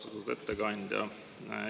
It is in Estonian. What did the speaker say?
Austatud ettekandja!